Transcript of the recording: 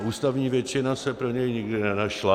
A ústavní většina se pro něj nikdy nenašla.